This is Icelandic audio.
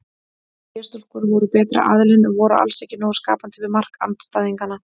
Eyjastúlkur voru betri aðilinn en voru alls ekki nógu skapandi við mark andstæðinganna.